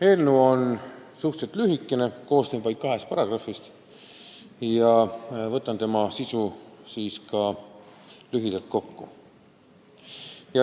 Eelnõu on suhteliselt lühikene, koosneb vaid kahest paragrahvist, ja võtan selle sisu ka lühidalt kokku.